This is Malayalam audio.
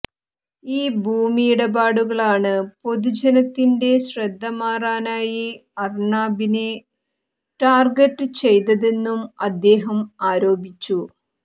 ഈ ഭൂമി ഇടപാടുകളാണ് പൊതുജനത്തിന്റെ ശ്രദ്ധ മാറാനായി അര്ണാബിനെ ടാർഗറ്റ് ചെയ്തതെന്നും അദ്ദേഹം ആരോപിച്ചു